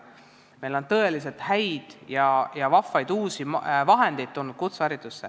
Kutseharidusse on tulnud tõeliselt häid ja vahvaid uusi vahendeid.